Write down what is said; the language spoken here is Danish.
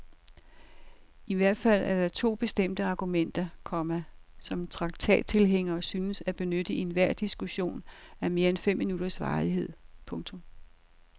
I hvert fald er der to bestemte argumenter, komma som traktattilhængere synes at benytte i enhver diskussion af mere end fem minutters varighed. punktum